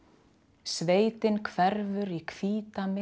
sveitin hverfur í